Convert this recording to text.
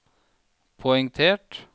poengtert